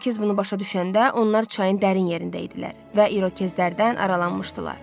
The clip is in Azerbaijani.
İrokez bunu başa düşəndə onlar çayın dərin yerində idilər və İrokezlərdən aralanmışdılar.